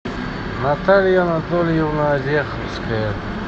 наталья анатольевна ореховская